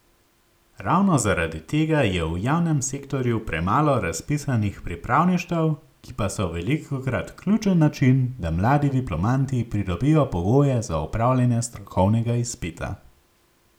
Ravno zaradi tega je v javnem sektorju premalo razpisanih pripravništev, ki pa so velikokrat ključen način, da mladi diplomanti pridobijo pogoje za opravljanje strokovnega izpita.